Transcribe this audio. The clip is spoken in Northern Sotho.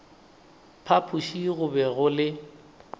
phapoši go be go le